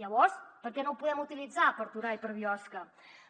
llavors per què no ho podem utilitzar per a torà i per a biosca